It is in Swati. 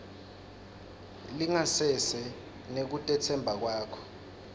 lingasese nekutetsemba kwakho